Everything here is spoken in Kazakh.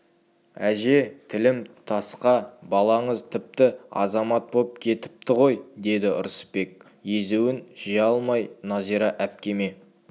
әже тілім тасқа балаңыз тіпті азамат боп кетіпті ғой деді ырысбек езуін жия алмай нәзира әпкеме